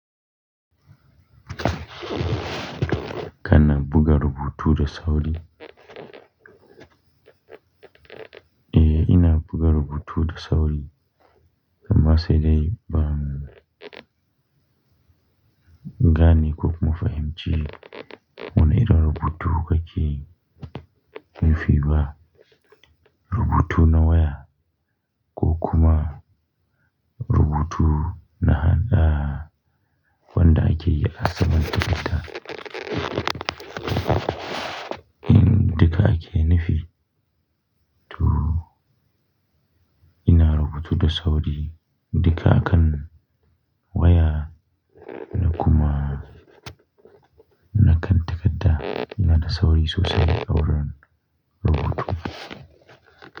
Kana buga rubutu da sauri? Eh, ina buga rubutu da sauri. Ammasai dai ban gane ko kuma fahimci wani irin rubutu kake nufi ba. Rubutu na waya, ko kuma rubutu na hannu. Wanda ake yi a saman takarda. Duka ake nufi. To ina rubutu da sauri duka akan waya da kuma na kan takarda. Ina da sauri sosai a wurin rubutu.